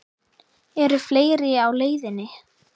Eru fleiri á leiðinni?